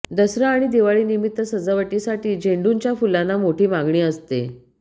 दसरा आणि दिवाळी निमित्त सजावटीसाठी झेंडूच्या फुलांना मोठी मागणी असते